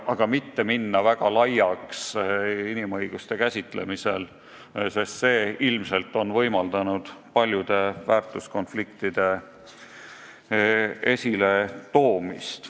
Samas ei maksa inimõiguste käsitlemisel väga laiali valguda, see ilmselt on võimaldanud paljudel väärtuskonfliktidel esile kerkida.